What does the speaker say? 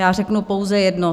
Já řeknu pouze jedno.